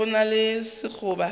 ge go na le sekgoba